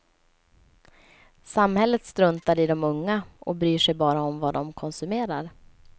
Samhället struntar i de unga och bryr sig bara om vad de konsumerar.